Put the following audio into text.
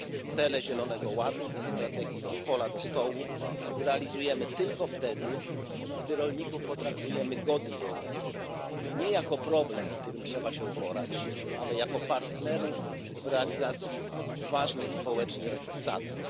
Cele Europejskiego Zielonego Ładu i strategii od pola do stołu zrealizujemy tylko wtedy, gdy rolników potraktujemy godnie. Nie jako problem, z którym trzeba się uporać, ale jako partnerów w realizacji ważnych społecznie zadań.